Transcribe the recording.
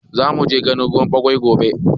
Zamuje ganin ruwan ɓawai gobe